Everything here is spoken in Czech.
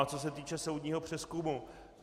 A co se týče soudního přezkumu.